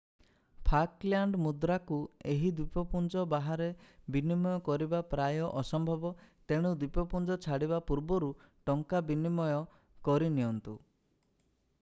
Falkland ମୁଦ୍ରାକୁ ଏହି ଦ୍ୱୀପପୁଞ୍ଜ ବାହାରେ ବିନିମୟ କରିବା ପ୍ରାୟ ଅସମ୍ଭବ ତେଣୁ ଦ୍ୱୀପପୁଞ୍ଜ ଛାଡ଼ିବା ପୂର୍ବରୁ ଟଙ୍କା ବିନିମୟ କରିନିଅନ୍ତୁ